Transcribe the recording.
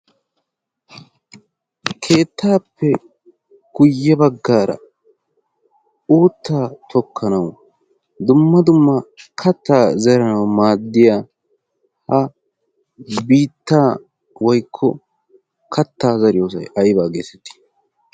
keettaappe kuye baggaara oottaa tokkanau dumma dumma kattaa zeranau maaddiya ha bittaa woikko kattaa zariyoosai aibaa geessatii